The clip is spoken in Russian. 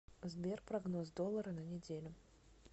сбер прогноз доллара на неделю